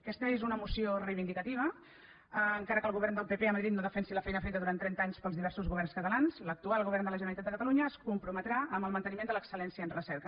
aquesta és una moció reivindicativa encara que el govern del pp a madrid no defensi la feina feta durant trenta anys pels diversos governs catalans l’actual govern de la generalitat de catalunya es comprometrà amb el manteniment de l’excel·lència en recerca